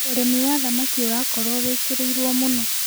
Ũrĩmĩ wa thamakĩ ũraakorwo wĩkĩrĩĩrwo mũno